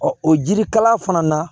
o jirikalan fana na